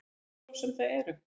Hverjir svo sem það eru.